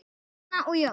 Erna og Jón.